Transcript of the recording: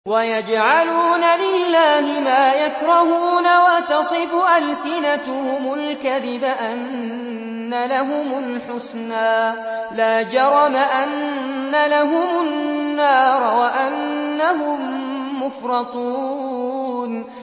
وَيَجْعَلُونَ لِلَّهِ مَا يَكْرَهُونَ وَتَصِفُ أَلْسِنَتُهُمُ الْكَذِبَ أَنَّ لَهُمُ الْحُسْنَىٰ ۖ لَا جَرَمَ أَنَّ لَهُمُ النَّارَ وَأَنَّهُم مُّفْرَطُونَ